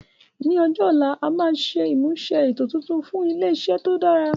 Ní ọjọ́ ọ̀la, a máa ṣe ìmúṣe ètò tuntun fún ilé iṣẹ́ tó dára